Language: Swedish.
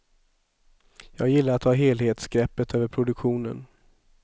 Jag gillar att ha helhetsgreppet över produktionen.